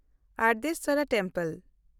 ᱳᱭᱨᱟᱵᱚᱛᱮᱥᱥᱚᱨ ᱢᱚᱱᱫᱤᱨ